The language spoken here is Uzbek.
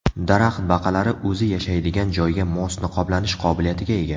Daraxt baqalari o‘zi yashaydigan joyga mos niqoblanish qobiliyatiga ega.